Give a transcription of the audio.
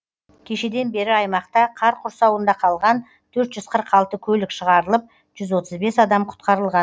кешеден бері аймақта қар құрсауында қалған төрт жүз қырық алты көлік шығарылып жүз отыз бес адам құтқарылған